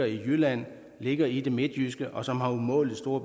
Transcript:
i jylland ligge i det midtjyske og som har umådelig stor